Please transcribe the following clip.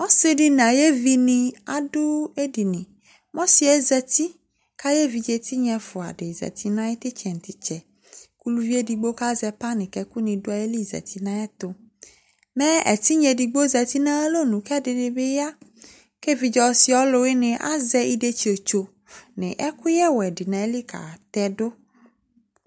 Ɔsɩ dɩ nʋ ayevinɩ adʋ edini, mɛ ɔsɩ yɛ zati kʋ ayʋ evidze tɩnya ɛfʋa dɩ zati nʋ ayʋ tʋ ɩtsɛ nʋ tʋ ɩtsɛ kʋ uluvi edigbo kʋ azɛ panɩ kʋ ɛkʋnɩ dʋ ayili zati nʋ ayɛtʋ, mɛ ɛtɩnya edigbo zati nʋ ayʋ alɔnu kʋ ɛdɩnɩ bɩ ya kʋ evidze ɔsɩ ɔlʋwɩnɩ yɛ azɛ idetsiwotso nʋ ɛkʋyɛwɛ dɩ nʋ ayili katɛ dʋ